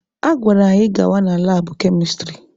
A gwara anyị gawa na labụ kemịstrị